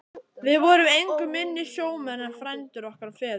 Við vorum engu minni sjómenn en frændur okkar og feður.